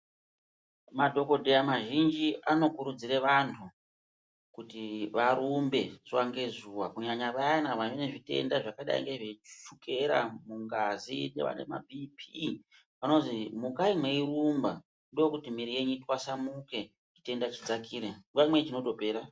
Madhokodheya mazhinji anokurudzire vantu, kuti varumbe zuwa ngezuwa kunyanya vayana vane zvitenda zvakadai ngezvechukera mungazi, nevane mabhiiphii, vanozi mukati mweirumba ndokuti mwiri yenyu itwasamuke, zvitenda zvidzakire. Nguwa imweni zvinotopera.